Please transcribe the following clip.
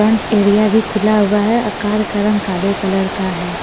Front area भी खुला हुआ है और कार का रंग काले कलर का है.